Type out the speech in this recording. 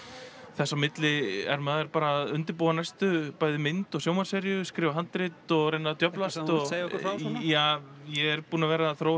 þess á milli er maður bara að undirbúa næstu bæði mynd og sjónvarpsseríu skrifa handrit og reyna að djöflast viltu segja okkur frá já ég er búinn að vera að þróa